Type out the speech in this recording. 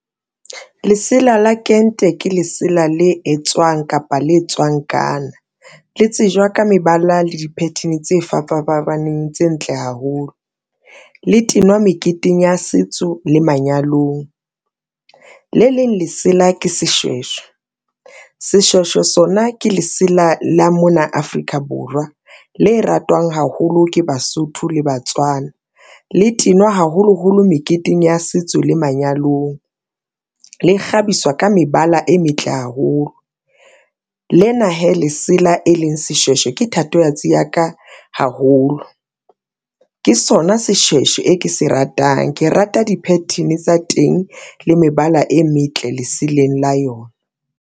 Lesela la kente ke lesela le etswang kapa le tswang Ghana le tsejwa ka mebala le di-pattern tse fapa fapaneng tse ntle haholo le tenwa meketeng ya setso le manyalong, le leng lesela ke seshweshwe, seshweshwe sona ke lesela la mona Afrika Borwa, le ratwang haholo ke Basotho le Batswana, le tenwa haholoholo meketeng ya setso le manyalong. Le kgabiswa ka mebala e metle haholo lena hee lesela e leng seshweshwe ke thatohatsi ya ka haholo, ke sona seshweshwe e ke se ratang. Ke rata di-pattern tsa teng le mebala e metle leseleng la yona.